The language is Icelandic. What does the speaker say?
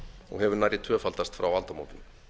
og hefur nærri tvöfaldast frá aldamótum